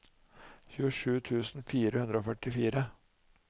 tjuesju tusen fire hundre og førtifire